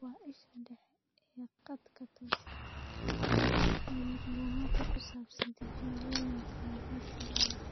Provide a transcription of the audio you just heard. waa isha dhexe ee khadka tooska ah ee macluumaadka ku saabsan tijaabooyinka hidde-sidaha.